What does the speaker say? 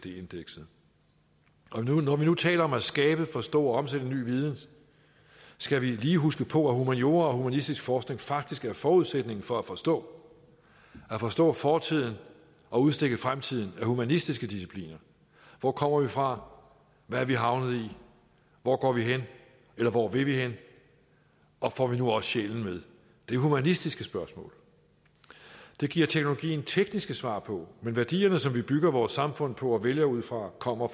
indekset når vi nu taler om at skabe forstå og omsætte ny viden skal vi lige huske på at humaniora og humanistisk forskning faktisk er forudsætningen for at forstå at forstå fortiden og udstikke fremtiden er humanistiske discipliner hvor kommer vi fra hvad er vi havnet i hvor går vi hen eller hvor vil vi hen og får vi nu også sjælen med det er humanistiske spørgsmål det giver teknologien tekniske svar på men værdierne som vi bygger vores samfund på og vælger ud fra kommer